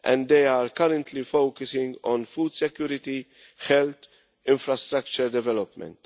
They are currently focusing on food security, health and infrastructure development.